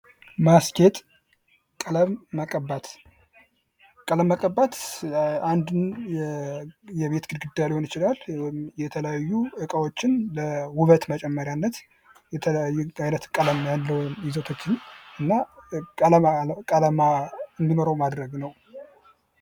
የማስጌጥ ዘይቤዎች እንደ ጣዕምና እንደ ወቅቱ ፋሽን የሚለያዩ ሲሆን ዘመናዊ፣ ባህላዊና ገጠርን ያካትታሉ